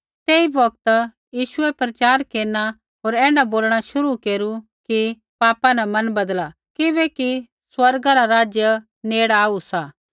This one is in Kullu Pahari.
तेई बौगता यीशुऐ प्रचार केरना होर ऐण्ढा बोलणा शुरू केरू कि पापा न मन बदला किबैकि स्वर्गा रा राज्य नेड़ आऊ सा